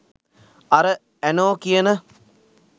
අර ඇනෝ කියන